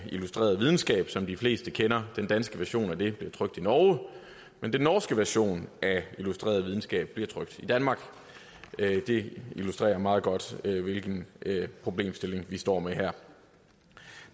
illustreret videnskab som de fleste kender den danske version af det magasin bliver trykt i norge men den norske version af illustreret videnskab bliver trykt i danmark det illustrerer meget godt hvilken problemstilling vi her står med der